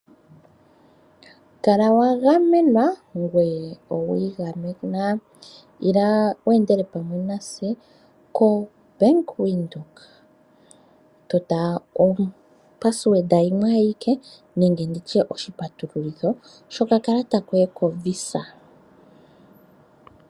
Kala wa gamenwa ngweye owiigamena. Ila wu endele pamwe natse koBank Windhoek tota oshipatululitho shokakalata koye koVisa.